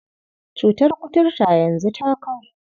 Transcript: Cutar kuturta yanzu ta kau.